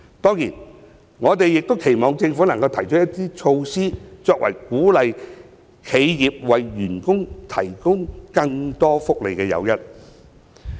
當然，我們亦期望政府能夠提出措施作為鼓勵企業為員工提供更多福利的誘因。